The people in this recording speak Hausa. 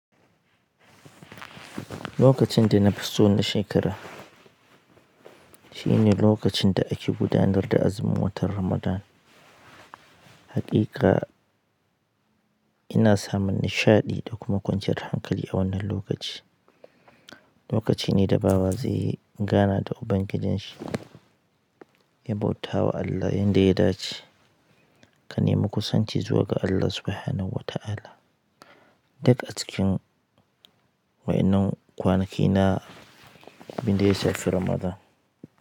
Lokacin da na fi so na shekara shine lokacin da ake gudanar da azumin watan Ramadan. Haƙiƙa ina samun nishaɗi da kuma kwanciyar hankali a wannan lokaci. Lokaci ne da bawa zai yi gana da Ubangijinshi, ya bauta wa Allah yanda ya dace, ka nemi kusanci zuwa ga Allah Subhanahu wa Ta'ala. Duk acikin wa'innan kwanaki na, abinda ya shafi Ramadan.